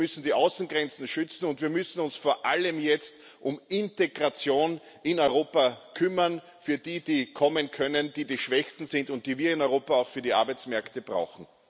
Wir müssen die Außengrenzen schützen, und wir müssen uns vor allem jetzt um Integration in Europa kümmern für die, die kommen können, die die Schwächsten sind und die wir in Europa auch für die Arbeitsmärkte brauchen.